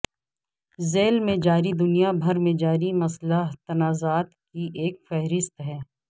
ذیل میں جاری دنیا بھر میں جاری مسلح تنازعات کی ایک فہرست ہے